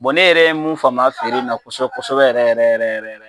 Bɔn ne yɛrɛ ye mun faamu a feere in na kosɛbɛ kosɛbɛ yɛrɛ yɛrɛ